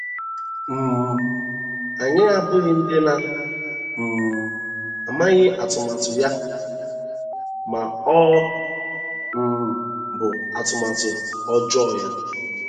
“ um Anyị abụghị ndị na um - amaghị atụmatụ ya, ” ma ọ um bụ atụmatụ ọjọọ ya.